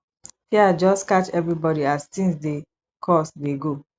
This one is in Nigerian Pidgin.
fear just catch everybodi as tins dey cost dey go